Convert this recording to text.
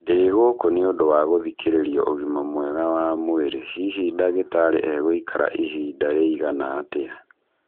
Ndĩ gũkũ nĩ ũndũ wa gũthikĩrĩrio ũgima mwega wa mwĩrĩ hihi ndagĩtarĩ egũikara ihinda rĩigana atĩa?